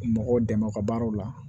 Mɔgɔw dɛmɛ u ka baaraw la